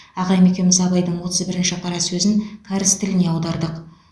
ағам екеуміз абайдың отыз бірінші қара сөзін кәріс тіліне аудардық